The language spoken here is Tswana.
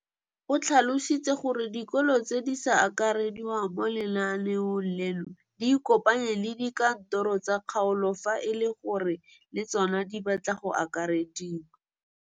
O tlhalositse gore dikolo tse di sa akarediwang mo lenaaneng leno di ikopanye le dikantoro tsa kgaolo fa e le gore le tsona di batla go akarediwa.